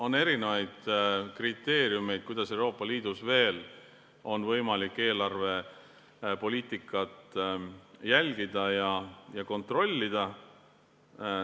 On erinevaid kriteeriume, kuidas Euroopa Liidus on veel võimalik eelarvepoliitikat jälgida ja kontrollida.